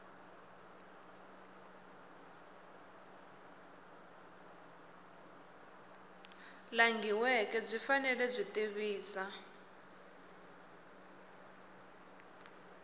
langhiweke byi fanele byi tivisa